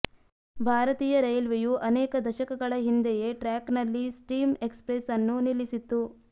ಭಾರತೀಯ ರೈಲ್ವೆಯು ಅನೇಕ ದಶಕಗಳ ಹಿಂದೆಯೇ ಟ್ರ್ಯಾಕ್ನಲ್ಲಿ ಸ್ಟೀಮ್ ಎಕ್ಸ್ಪ್ರೆಸ್ ಅನ್ನು ನಿಲ್ಲಿಸಿತ್ತು